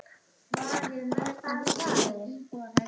Sólveig: Og þú bíður?